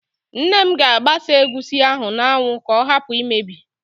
Nne m ga-agbasa egusi ahụ n'anwụ ka ọ hapụ imebi